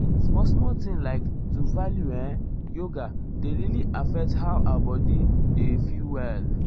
small small thing like to value[um]yoga dey really affect how our body body dey feel well.